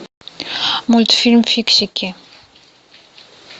мультфильм фиксики